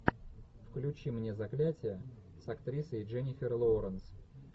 включи мне заклятие с актрисой дженнифер лоуренс